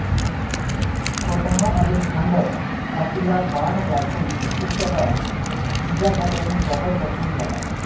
स्वतः अलेक्झांडर छातीला बाण लागून फुप्फुसाला इजा झाल्याने जबर जखमी झाला